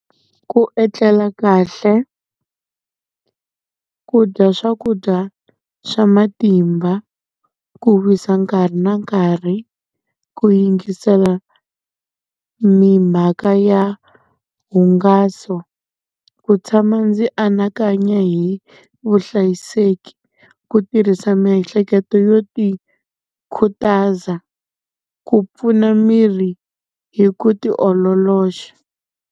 Ku etlela kahle, ku dya swakudya swa matimba, ku wisa nkarhi na nkarhi, ku yingisela mhaka ya hungaso, ku tshama ndzi anakanya hi vuhlayiseki, ku tirhisa miehleketo yo tikhutaza, ku pfuna miri hi ku ti ololoxa.